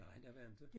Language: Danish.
Nej der var inte